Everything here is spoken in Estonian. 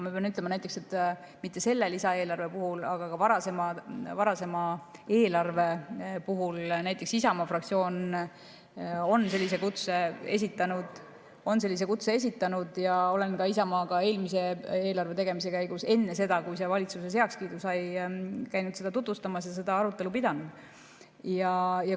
Ma pean ütlema, et mitte selle lisaeelarve puhul, aga varasema eelarve puhul näiteks Isamaa fraktsioon sellise kutse esitas ja ma käisin eelmise eelarve tegemise käigus enne seda, kui see valitsuses heakskiidu sai, seda Isamaale tutvustamas ja seda arutelu pidamas.